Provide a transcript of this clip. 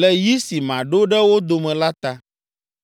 le yi si maɖo ɖe wo dome la ta.”